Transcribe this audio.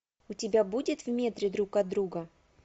у тебя будет в метре друг от друга